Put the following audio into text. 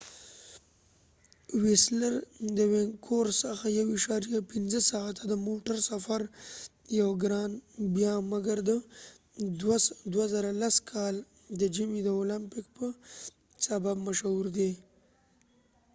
ويسلر د وينکوور څخه 1.5 ساعته د موټر سفر یو ګران بیه مګر د 2010 کال د ژمی د اولمپګ به سبب مشهور دي